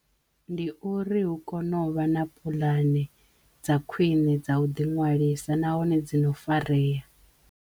Ndi uri hu kono vha na puḽane dza khwiṋe dza u ḓi ṅwalisa nahone dzi no fareya.